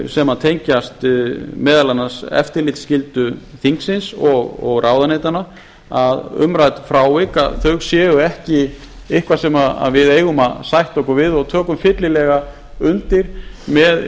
sem tengjast meðal annars eftirlitsskyldu þingsins og ráðuneytanna að umrædd frávik að þau séu ekki eitthvað sem við eigum að sætta okkur við og tökum fyllilega undir með